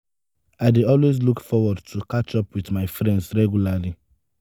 i dey always look forward to catch up with my friends regularly.